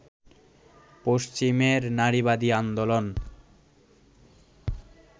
পশ্চিমের নারীবাদী আন্দোলন